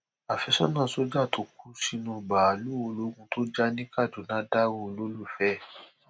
àfẹsọnà sójà tó kú sínú báàlúù ológun tó jà ní kaduna dárò olólùfẹ ẹ